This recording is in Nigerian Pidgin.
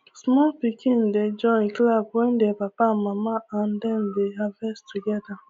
small pikin dey join clap wen their papa and mama and dem dey harvest together